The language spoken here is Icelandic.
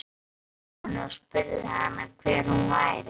Ég settist hjá henni og spurði hana hver hún væri.